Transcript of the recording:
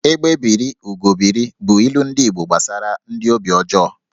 "Egbé biri, Ugo biri" bụ ilu ndi Igbo gbasara ndị obi ọjọọ